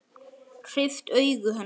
Hreyft augu hennar.